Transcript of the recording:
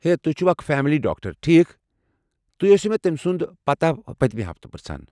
ہے، تُہۍ چھوٕ اکھ فیملی ڈاکٹر، ٹھیكھ؟ تُہۍ ٲسِوٕ مےٚ تٔمۍ سُنٛد پتاہ پٔتِمہِ ہفتہٕ پِرژھان۔